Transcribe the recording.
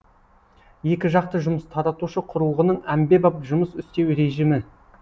екі жақты жұмыс таратушы құрылғының әмбебап жұмыс істеу режімі